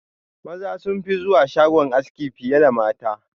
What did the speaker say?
Maza sunfi zuwa shagon aski fiye da mata.